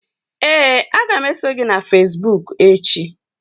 Ee, a ga m eso gị na facebook echi.